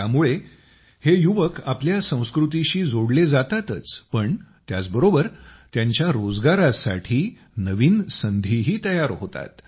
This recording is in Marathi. यामुळे हे युवक आपल्या संस्कृतीशी जोडले जातातच पण त्याचबरोबर त्यांच्या रोजगारासाठी नवीन संधीही तयार होतात